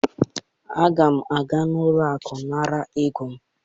Aga m aga n'ụlọ akụ nara ego m